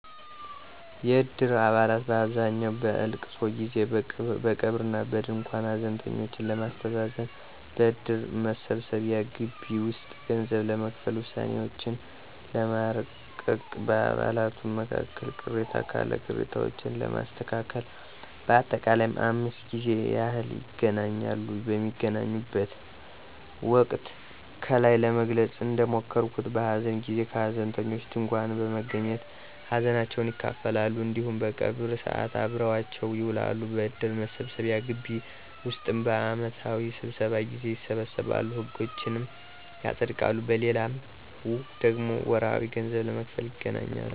የእድር አባላት በአብዛኛው በእልቅሶ ጊዜ፦ በቀብር እና በድንኳን ሀዘንተኞችን ለማስተዛዘን፣ በእድር መሰብሰቢያ ግቢ ውስጥ ገንዘብ ለመክፈል፣ ውሳኔዎችን ለማርቀቅ፣ በአባላቱም መካከል ቅሬታ ካለ ቅሬታዎችን ለማስተካከል በአጠቃላይም 5 ጊዜ ያህል ይገናኛሉ። በሚገናኙበት ወቅትም ከላይ ለመግለጽ እንደሞከርኩት በሀዘን ጊዜ ከሀዘንተኞች ድንኳን በመገኘት ሀዘናቸውን ይካፈላሉ እንዲሁም በቀብር ሰዓት አብረዋቸው ይውላሉ። በእድር መሰብሰቢያ ግቢ ውስጥም በአመታዊ ስብሰባ ጊዜ ይሰበሰባሉ፤ ህጎችንም ያፀድቃሉ። በሌላው ደግሞ ወርሀዊ ገንዘብ ለመክፈል ይገናኛሉ።